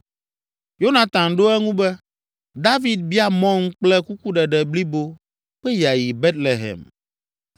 Yonatan ɖo eŋu be, “David bia mɔm kple kukuɖeɖe blibo be yeayi Betlehem.